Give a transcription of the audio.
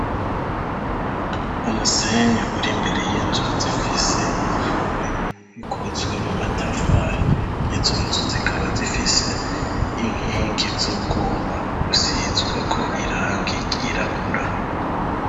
Umusenyi uri imbere y'inzu zifise ibihome bikozwe mu matafari izunzu zikaba zifise inkingi z'urwuma gusizweko iranga ryirabura.